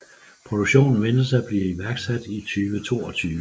Produktionen ventes at blive iværksat i 2022